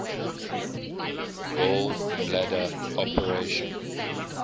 gall bladder operation